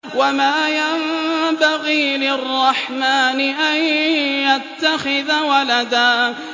وَمَا يَنبَغِي لِلرَّحْمَٰنِ أَن يَتَّخِذَ وَلَدًا